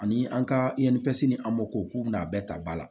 Ani an ka ni an mako k'u bɛna a bɛɛ ta ba la